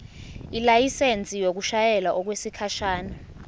ilayisensi yokushayela okwesikhashana